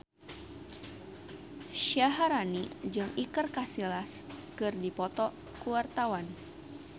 Syaharani jeung Iker Casillas keur dipoto ku wartawan